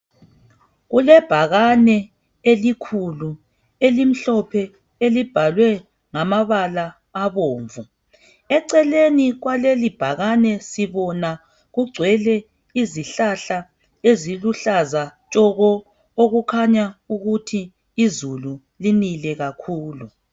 Kulebhakane elikhulu elimhlophe elibhalwe ngamabala abomvu. Eceleni kwalelibhakane sibona kugcwele izihlahla eziluhlaza tshoko, okukhanya ukuthi izulu linile kakhulu.